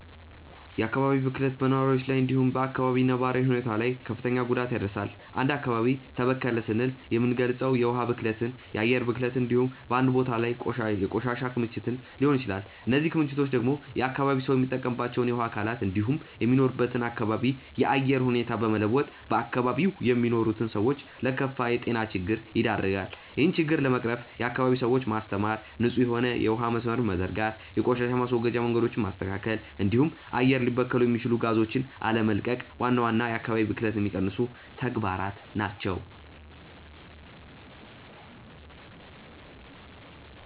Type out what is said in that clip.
የአካባቢ ብክለት በነዋሪዎች ላይ እንዲሁም በ አካባቢው ነባራዊ ሁኔታ ላይ ክፍትን ጉዳት ያደርሳል። አንድ አካባቢ ተበከለ ስንል የምንልገጸው የውሀ ብክለትን፣ የአየር ብክለትን እንዲሁም በአንድ ቦታ ላይ ያለ የቆሻሻ ክምችትን ሊሆን ይችላል። እነዚህ ክምችቶች ደግሞ የአካባቢው ሰው የሚጠቀምባቸውን የውሀ አካላት እንዲሁም የሚኖርበትን አካባቢ የአየር ሁኔታ በመለወጥ በአካባቢው የሚኖሩትን ሰዎች ለከፋ የጤና ችግር ይደረጋሉ። ይህን ችግር ለመቅረፍም የአካባቢውን ሰዎች ማስተማር፣ ንጹህ የሆነ የውሀ መስመርን መዘርጋት፣ የቆሻሻ ማስወገጃ መንገዶችን ማስተካከል እንዲሁም አየር ሊበክሉ የሚችሉ ጋዞችን አለመቀቅ ዋና ዋና የአካባቢ ብክለትን የሚቀንሱ ተግባራት ናቸው።